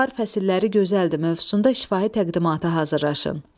Bahar fəsiləri gözəldir mövzusunda şifahi təqdimatı hazırlayın.